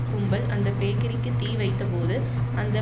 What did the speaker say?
கும்பல் அந்த பேக்கரிக்கு தீ வைத்தபோது அந்த